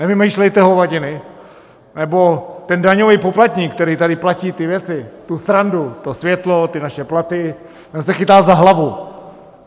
Nevymýšlejte hovadiny, nebo ten daňový poplatník, který tady platí ty věci, tu srandu, to světlo, ty naše platy, ten se chytá za hlavu.